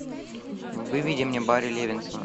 выведи мне барри левинсона